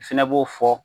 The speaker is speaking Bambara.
Fɛnɛ b'o fɔ